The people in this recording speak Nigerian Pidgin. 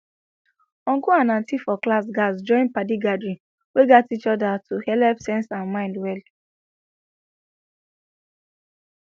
uncle and auntie for class gatz join padi gathering wey gat each other to helep sense and mind well